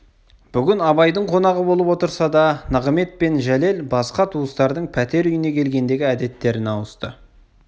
бүгін абайдың қонағы болып отырса да нығымет пен жәлел басқа туыстардың пәтер үйіне келгендегі әдеттеріне ауысты